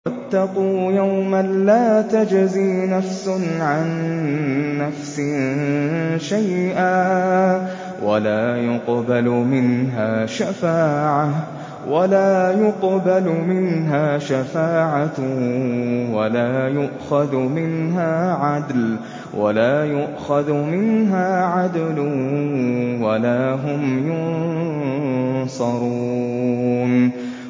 وَاتَّقُوا يَوْمًا لَّا تَجْزِي نَفْسٌ عَن نَّفْسٍ شَيْئًا وَلَا يُقْبَلُ مِنْهَا شَفَاعَةٌ وَلَا يُؤْخَذُ مِنْهَا عَدْلٌ وَلَا هُمْ يُنصَرُونَ